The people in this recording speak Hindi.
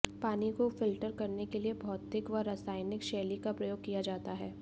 पानी को फ़िल्टर करने के लिए भौतिक व रासायनिक शैली का प्रयोग किया जाता है